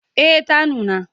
Eh ta nuna.